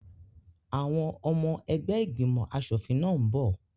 Àwọn ọmọ ẹgbẹ́ ìgbìmọ̀ aṣòfin náà n bọ̀